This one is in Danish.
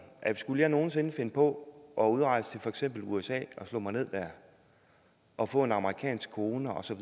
at skulle jeg nogen sinde finde på at udrejse til for eksempel usa og slå mig ned dér og få en amerikansk kone og så